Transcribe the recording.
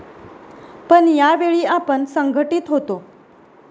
पण यावेळी आपण संघटीत होतो.